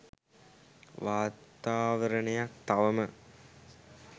වාතාවරණයක් තවම